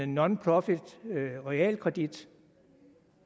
nonprofit realkredit